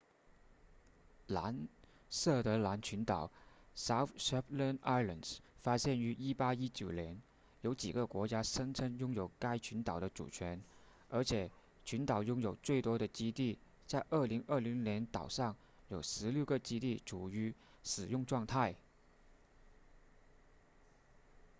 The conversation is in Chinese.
南设得兰群岛 south shetland islands 发现于1819年有几个国家声称拥有该群岛的主权而且群岛拥有最多的基地在2020年岛上有十六个基地处于使用状态